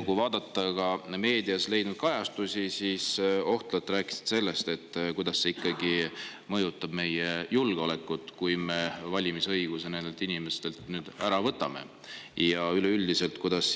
Kui vaadata meediakajastusi, siis te ohtralt rääkisite sellest, kuidas see ikkagi mõjutab meie julgeolekut, kui me valimisõiguse nendelt inimestelt nüüd ära võtame, ja kuidas